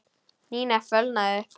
Nína fölnaði upp.